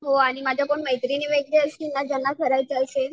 हो आणि माझ्या कोणी मैत्रिणी वगैरे असतील ना ज्यांना करायचं असेल